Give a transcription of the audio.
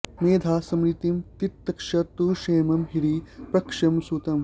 मेधा स्मृतिं तितिक्षा तु क्षेमं ह्रीः प्रश्रयं सुतम्